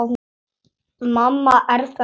Mamma er þar líka.